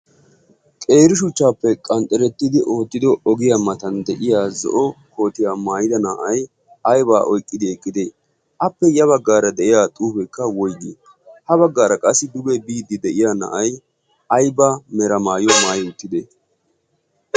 qeerishuchchaappe qanxxerettidi oottido ogiya matan de'iya zo'o kootiyaa maayida na'ay aybaa oyqqidi eqqite appe ya baggaara deyiya xuufekka woiggii ha baggaara qassi duge biiddi de'iya na'aiy aybaa mera maayuaa maayi uttide